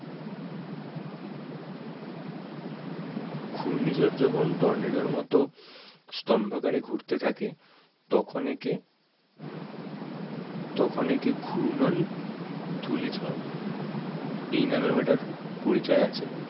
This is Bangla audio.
ঘূর্ণিঝড় যখন টর্নেডোর মতো স্তম্ভকারে ঘুরতে থাকে তখন একে তখন একে ঘূর্ণন ধূলিঝড় এই নামেও এটার পরিচয় আছে।